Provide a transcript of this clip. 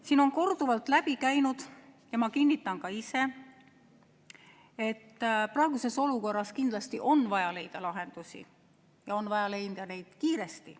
Siin on korduvalt läbi käinud ja ma kinnitan ka ise, et praeguses olukorras kindlasti on vaja leida lahendusi ja on vaja leida neid kiiresti.